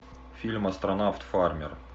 фильм астронавт фармер